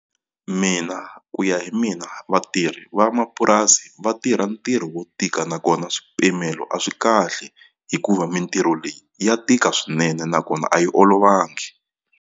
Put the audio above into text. Mina ku ya hi mina vatirhi vamapurasi va tirha ntirho wo tika nakona swipimelo a swi kahle hikuva mintirho leyi ya tika swinene nakona a yi olovangi.